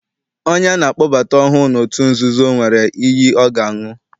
Onye ana akpọbata ọhụụ n'otu nzuzo, nwere iyi ọ ga-aṅụ.